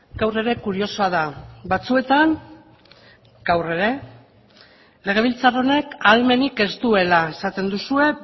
gaur ere kuriosoa da batzuetan gaur ere legebiltzar honek ahalmenik ez duela esaten duzue